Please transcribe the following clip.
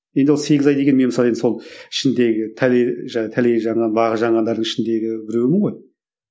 енді ол сегіз ай деген мен мысалы енді сол ішіндегі бағы жанғандардың ішіндегі біреуімін ғой